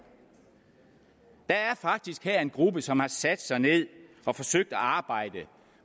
der er faktisk her en gruppe som har sat sig ned og forsøgt at arbejde